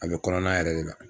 A bɛ kɔnɔna yɛrɛ de la.